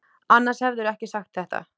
Annars hefðirðu ekki sagt þetta.